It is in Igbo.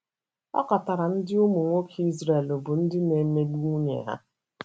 Ọ katọrọ ndị ụmụnwoke Izrel bụ́ ndị na emegbu nwunye ha.